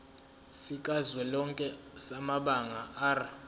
sikazwelonke samabanga r